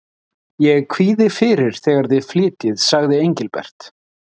Ég kvíði fyrir þegar þið flytjið, sagði Engilbert.